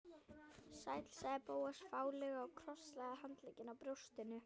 Sæll sagði Bóas fálega og krosslagði handleggina á brjóstinu.